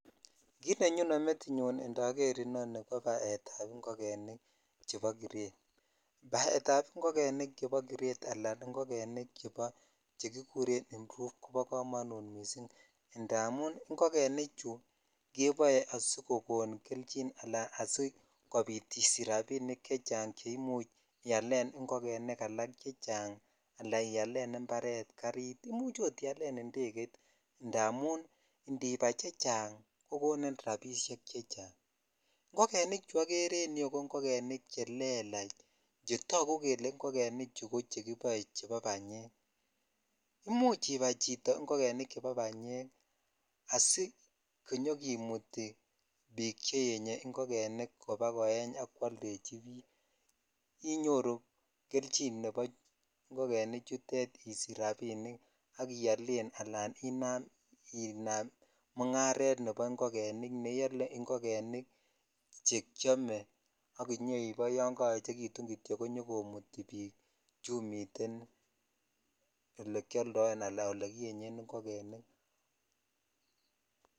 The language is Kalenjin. Kit nenyone metinyun indoor nii ko baet ab ingogenik chebo kiret , baet ab ingogenik chebo kiret ala ingogenik chebo che kikuren improve kobo komonut missing indamun ingogenik chu keboe asikkoni kelchin ala sikobit isich rabinik chechang che imuch ialen ialen ikongenik chechang ala ialen imparet, garit imuch ot ialen indegeit indamun indibai chechang ko koni rabinik chechang ingogenik nichu okerer en yuu ko ingogenik che kelachchetogu kele ingogekenichu ko chekiboe chebo banyek imuch ibai chito ingogenik chebo banyek asikinyokimutii cheese ingogenik kobakoeny ak kwoldechi bik iyoru kelchin nebo ingogenik nichutet isich rabinik ak iolen ala inam .uncared nebo ingogenik ne iole che kiome ak inyoiboe yon koyechekitun kityok konyokomuti bikchun miten olekioldoen ala ole kiyenyen ingogenik.